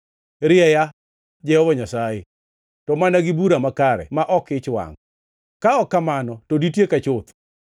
Rieya, Jehova Nyasaye, to mana gi bura makare ma ok e ich wangʼ, ka ok kamano to ditieka chuth.